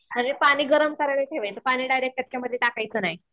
म्हणजे पाणी गरम करायला ठेवायचं पाणी लगेच टाकायचं नाही